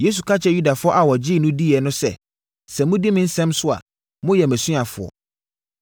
Yesu ka kyerɛɛ Yudafoɔ a wɔgyee no diiɛ no sɛ, “Sɛ modi me nsɛm so a, moyɛ mʼasuafoɔ.